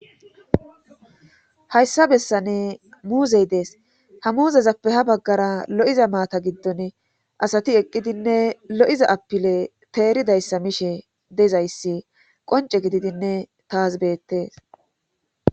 hayssa bessane muuzey dees ha muuzezappe ha baggara lo7iza maata giddon asati eqqidinne lo7iza apile teeridayssa mishe dezayssi qonce gididinne taas beettes